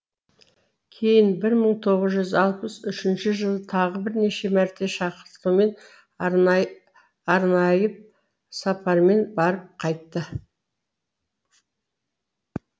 кейін мың тоғыз жүз алпыс үшінші жылы тағы бірнеше мәрте шақытумен арнайып сапармен барып қайтты